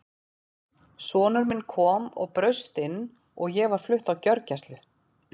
Sonur minn kom og braust inn og ég var flutt á gjörgæslu.